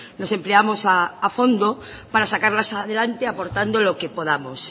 nos empleamos a fondo para sacarlas adelante aportando lo que podamos